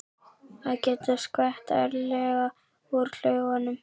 Að geta skvett ærlega úr klaufunum!